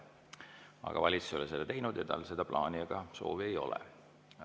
Aga valitsus ei ole seda teinud ja tal seda plaani ega soovi ei ole.